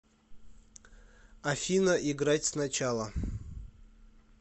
афина играть сначала